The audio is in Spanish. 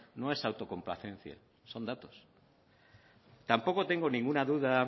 no es autocomplacencia son datos tampoco tengo ninguna duda